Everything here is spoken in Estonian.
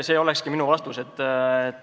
See ongi minu vastus.